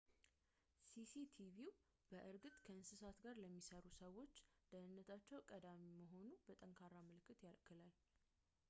"ሲ.ሲ.ቲቪው በእርግጥ ከእንስሳ ጋር ለሚሠሩ ሰዎች ደህነነታቸው ቀዳሚ መሆኑን በጠንካራ ምልክት ይልካል።